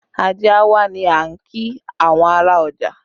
Ajé a wá ni a kí àwọn ará ọjà